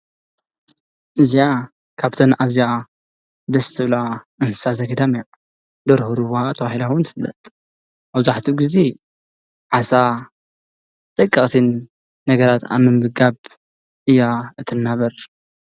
እዚኣ ካብተን ኣዝያ ደስ ዝብላ እንሰሳ ዘገዳም እያ። ደርሆ ሩባ ተባሂላ እውን ትፍለጥ። መብዛህትኡ ግዜ ዓሳ ደቐቅትን ነገራት ኣብ ምምጋብ እያ እትናበር።